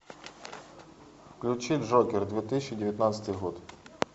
включи джокер две тысячи девятнадцатый год